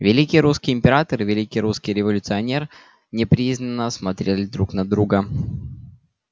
великий русский император и великий русский революционер неприязненно смотрели друг на друга